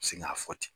Segi ka fɔ ten